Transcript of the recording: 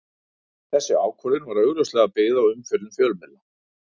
Þessi ákvörðun var augljóslega byggð á umfjöllun fjölmiðla.